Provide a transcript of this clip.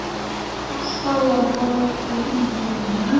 Alltaf var haldið í vonina.